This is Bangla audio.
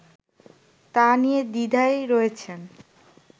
তা নিয়ে দ্বিধায় রয়েছেন